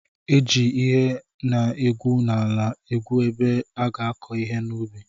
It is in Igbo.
E ji ihe ana egwu n'ala egwu ebe a ga-akọ ihe n'ubi.